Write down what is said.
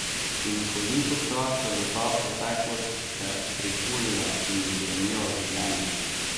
In kolikokrat se bo ta preteklost še prihulila in ji grenila življenje?